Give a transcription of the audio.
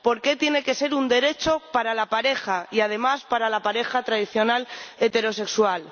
¿Por qué tiene que ser un derecho para la pareja y, además, para la pareja tradicional heterosexual?